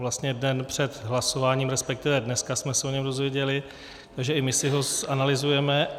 Vlastně den před hlasováním, respektive dneska jsme se o něm dozvěděli, takže i my si ho zanalyzujeme.